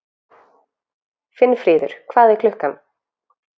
Finnfríður, hvað er klukkan?